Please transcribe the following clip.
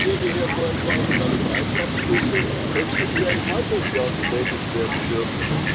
Ich würde hier vorschlagen, dass Preisabschlüsse höchstens für ein halbes Jahr getätigt werden dürfen.